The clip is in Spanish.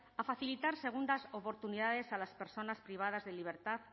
a facilitar segundas oportunidades a las personas privadas de libertad